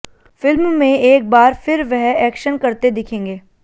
film में एक बार फिर वह एक्शन करते दिखेंगे